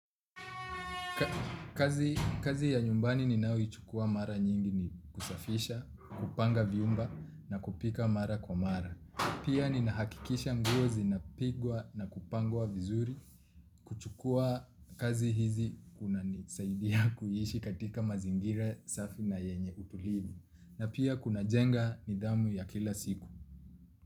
Kazi ya nyumbani ninayoichukua mara nyingi ni kusafisha na kupanga vyumba na kupika mara kwa mara. Pia ninahakikisha nguo zinapigwa na kupangwa vizuri. Kuchukua kazi hizi kunanisaidia kuiishi katika mazingira safi na yenye utulivu. Na pia kunajenga nidhamu ya kila siku.